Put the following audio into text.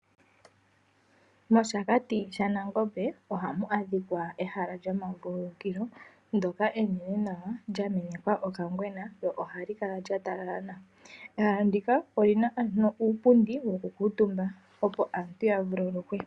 Moshakati shaNangombe ohamu adhikwa ehala lyomavululukilo ndjoka enene nawa lyamenekwa okangwena lyo ohalikala lyatalala nawa. Ehala ndika olina ano uupundi woku kuutumba opo aantu yavululukwe.